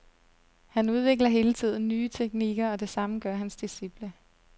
Han udvikler hele tiden nye teknikker, og det samme gør hans disciple.